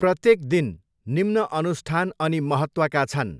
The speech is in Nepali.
प्रत्येक दिन निम्न अनुष्ठान अनि महत्त्वका छन्।